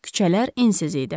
Küçələr ensiz idi.